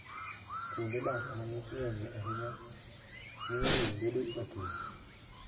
Kuonde dak ma ng'ich ng'enyie ahinya, miyo winy bedo matuo.